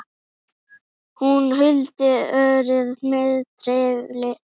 Hún huldi örið með trefli.